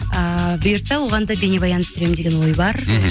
ыыы бұйыртса оған да бейнебаян түсіремін деген ой бар мхм